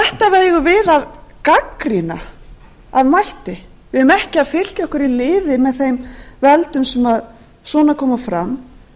eigum við að gagnrýna af mætti við eigum ekki að fylkja okkur í lið með þeim löndum sem svona koma fram